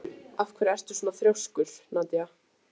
Af hverju ertu svona þrjóskur, Nadia?